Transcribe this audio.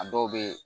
A dɔw bɛ